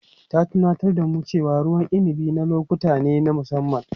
Ta tunatar da mu cewa ruwan inabi na lokuta ne na musamman.